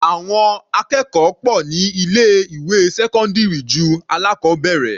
Àwọn akẹ́kọ̀ọ́ pọ̀ ní ilé ìwé sẹ́cọ́ndírì ju alákọbẹ̀rẹ̀.